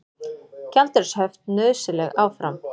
Gjaldeyrishöft nauðsynleg áfram